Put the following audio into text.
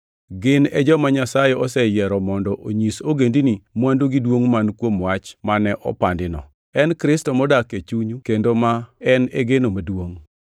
Gin e joma Nyasaye oseyiero mondo onyis ogendini mwandu gi duongʼ man kuom wach mane opandino, en Kristo modak e chunyu kendo ma en e geno mar duongʼ.